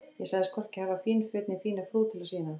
Ég sagðist hvorki hafa fín föt eða fína frú til að sýna.